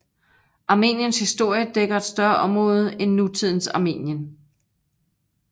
Armeniens historie dækker et større område end nutidens Armenien